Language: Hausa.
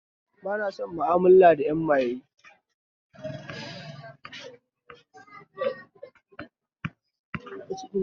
Ba na son ma'amala da 'yan maye